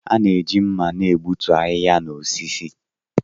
A na-eji mma na-egbutu ahịhịa na osisi.